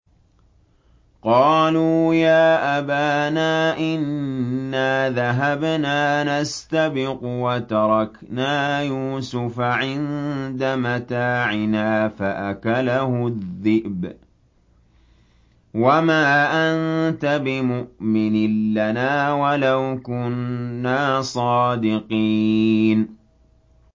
قَالُوا يَا أَبَانَا إِنَّا ذَهَبْنَا نَسْتَبِقُ وَتَرَكْنَا يُوسُفَ عِندَ مَتَاعِنَا فَأَكَلَهُ الذِّئْبُ ۖ وَمَا أَنتَ بِمُؤْمِنٍ لَّنَا وَلَوْ كُنَّا صَادِقِينَ